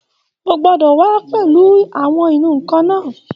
O gbọ́dọ̀ wà á pẹ̀lú àwọn ìnù-ǹkan náà